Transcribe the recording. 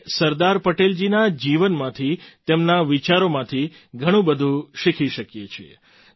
આપણે સરદાર પટેલજીના જીવનમાંથી તેમના વિચારોમાંથી ઘણું બધું શીખી શકીએ છીએ